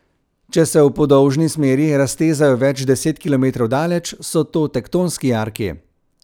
Če se v podolžni smeri raztezajo več deset kilometrov daleč, so to tektonski jarki.